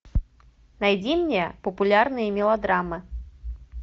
найди мне популярные мелодрамы